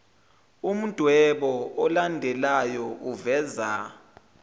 umdwebo olandelayo uveza